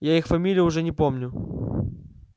я их фамилии уже и не помню